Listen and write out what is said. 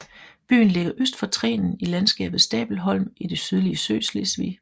Byen ligger øst for Trenen i landskabet Stabelholm i det sydlige Sydslesvig